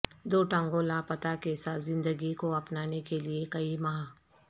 دو ٹانگوں لاپتہ کے ساتھ زندگی کو اپنانے کے لئے کئی ماہ